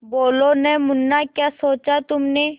बोलो न मुन्ना क्या सोचा तुमने